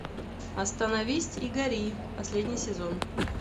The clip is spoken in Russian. остановись и гори последний сезон